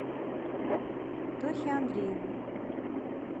тохе андрееву